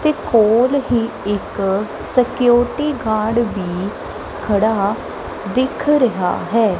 । ਤੇ ਕੋਲ ਹੀ ਇਕ ਸਿਕਿਯੋਰਿਟੀ ਗਾਰਡ ਵੀ ਖੜਾ ਦਿੱਖ ਰਿਹਾ ਹੈ।